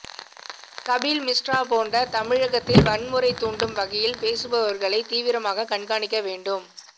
கபில் மிஸ்ரா போன்ற தமிழகத்தில் வன்முறை தூண்டும் வகையில் பேசுபவர்களை தீவிரமாக கண்காணிக்க வேண்டும்